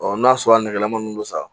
n'a sɔrɔ a nɛgɛman don sa